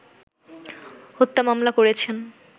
হত্যা মামলা করেছেন